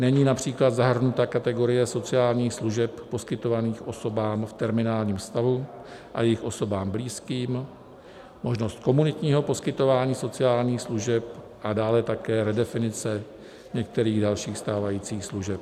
Není například zahrnuta kategorie sociálních služeb poskytovaných osobám v terminálním stavu a jejich osobám blízkým, možnost komunitního poskytování sociálních služeb a dále také redefinice některých dalších stávajících služeb.